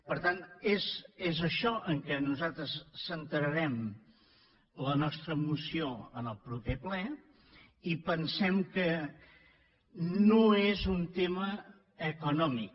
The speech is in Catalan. per tant és això en què nosaltres centrarem la nostra moció en el proper ple i pensem que no és un tema econòmic